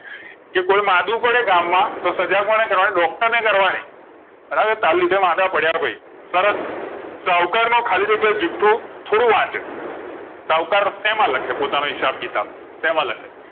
કે કોઈ માદું પડે ગામમાં તો સજા કોને કરવાની doctor ને કરવાની બરાબર તારલીધે માંદા પડ્યા હોય સરસ સૌઉકાર નું ખાલી જગ્યા જૂઠું થોડું વાંચે સૌઉકાર શેમાં લખે પોતા નો હિસાબ કિતાબ સેમ લખે